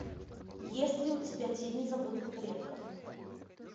есть ли у тебя тени забытых предков